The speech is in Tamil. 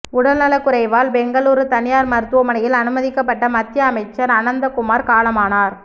உடல்நலக்குறைவால் பெங்களூரு தனியார் மருத்துவமனையில் அனுமதிக்கப்பட்ட மத்திய அமைச்சர் அனந்தகுமார் காலமானார்